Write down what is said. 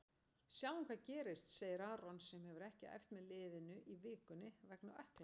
Sjáum hvað gerist, segir Aron sem hefur ekki æft með liðinu í vikunni vegna ökklameiðsla.